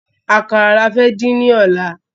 Àkàrà ni a fẹ́ din ni ọ̀la